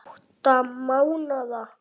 Átta mánaða